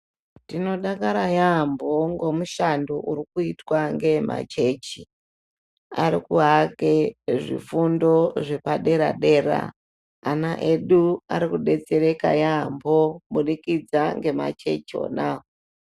Tinodakara yaampho ngomushando uri kuitwa ngemachechi. Ari kuake zvifundo zvepadera-dera .Ana edu ari kudetsereka yaampho, kubudikidza ngemachechi ona.